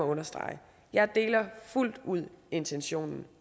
understrege jeg deler fuldt ud intentionen